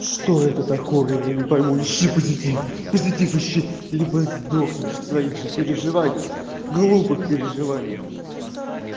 что это такое я не пойму ищи позитив позитив ищи либо сдохнешь в своих же переживаниях глупых переживаниях